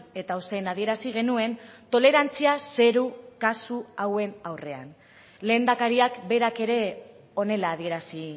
eta ozen adierazi genuen tolerantzia zero kasu hauen aurrean lehendakariak berak ere honela adierazi